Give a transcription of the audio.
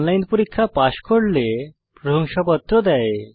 online পরীক্ষা pass করলে প্রশংসাপত্র দেয়